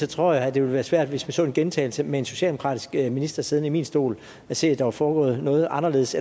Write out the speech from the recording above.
tror jeg det vil være svært hvis vi så en gentagelse med en socialdemokratisk minister siddende i min stol at se at der var foregået noget anderledes